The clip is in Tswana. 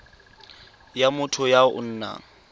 ya motho ya o nang